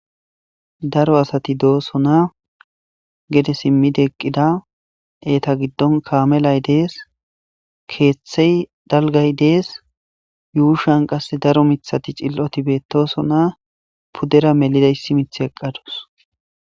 daro asati dooso na gede simmide eqqida eeta giddon kaamelay dees keeththey dalgay dees yuushan qasse daro mithati cil7oti beettoso na pudera melidaysimith eqqadus